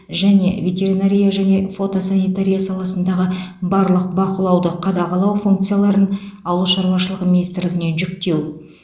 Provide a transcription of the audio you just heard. және ветеринария және фотосанитария саласындағы барлық бақылауды қадағалау функцияларын ауыл шаруашылығы министрлігіне жүктеу